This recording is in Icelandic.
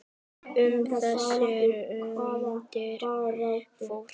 Um þessar mundir fór